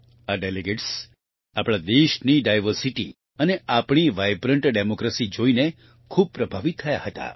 આ ડેલિગેટ્સ આપણા દેશની ડાયવર્સિટી અને આપણી વાઇબ્રન્ટ ડેમોક્રેસી જોઈને ખૂબ પ્રભાવિત થયા હતા